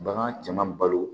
Bagan cɛman balo